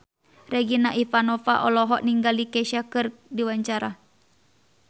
Regina Ivanova olohok ningali Kesha keur diwawancara